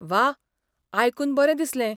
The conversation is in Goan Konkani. वाह! आयकून बरें दिसलें.